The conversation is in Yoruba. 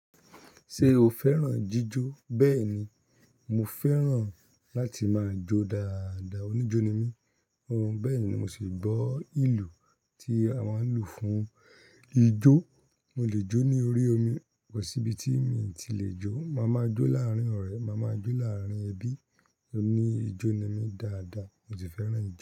Ṣé o fẹ́ràn jíjó? Bẹ́ẹ̀ni, mo fẹ́ràn láti máa jó dáadáa. Oníjó ni mí. Hun, bẹ́ẹ̀ ni mo sì gbọ́ ìlú tí a máa ń lu fún ijó. Mo lè jó ní orí omi, kò sí ibi tí mì tí lè jó. Máa má jó láàrín ọ̀rẹ́, màá ma jó láárín ẹbí. Oní ijó ni mí dáadáa. Mo si fẹ́ràn ijó.